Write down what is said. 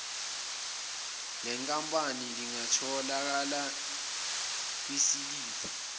lenkampani lingatholakala kwisiliphu